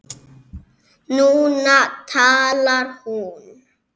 Núna talar hún.